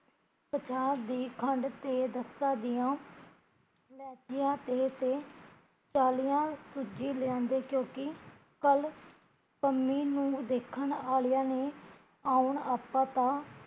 ਪੰਜਾਹ ਦੀ ਖੰਡ ਤੇ ਦਸਾਂ ਦੀਆ ਲੈਚੀਆ, ਤੇਲ ਤੇ ਥਾਲੀਆ ਕੁੱਜੇ ਲਿਆਂਦੇ ਕਿਓਕਿ ਕੱਲ੍ ਕੰਮੀ ਨੂ ਦੇਖਣ ਆਲਿਆ ਨੇ ਆਉਣ ਤਾ